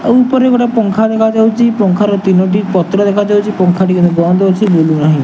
ଆଉ ଉପରେ ଗୋଟେ ପଙ୍ଖା ଦେଖା ଯାଉଚି ପଙ୍ଖା ରେ ତିନୋ ଟି ପତ୍ର ଦେଖା ଯାଉଚି ପଙ୍ଖା ବି ଏବେ ବନ୍ଦ ଅଛି ବୁଲୁନାହିଁ।